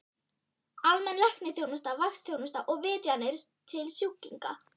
Almenn læknisþjónusta, vaktþjónusta og vitjanir til sjúklinga.